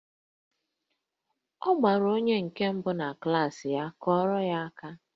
Ọ bịara onye nke mbụ na klaasị ya, kụọrọ ya aka!